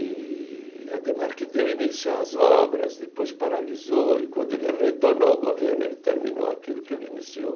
E Ademar que deu início às obras, depois paralisou, e quando ele retornou ao governo, ele terminou aquilo que ele iniciou.